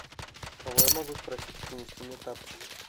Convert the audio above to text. кого я могу спросить принести мне тапочки